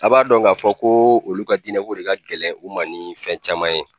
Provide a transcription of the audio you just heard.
A b'a dɔn k'a fɔ ko olu ka diinɛko de ka gɛlɛn o ma ni fɛn caman ye.